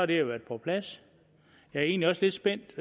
det jo været på plads jeg er egentlig også lidt spændt